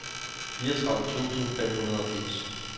fireogtredive tusind og femogfirs